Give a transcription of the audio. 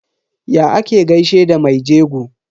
Ya ake gaishe da me jego?